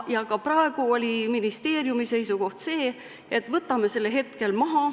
Ja ka praegu oli ministeeriumi seisukoht selline, et võtame selle hetkel maha.